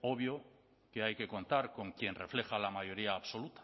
obvio que hay que contar con quien refleja la mayoría absoluta